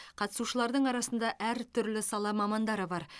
қатысушылардың арасында әртүрлі сала мамандары бар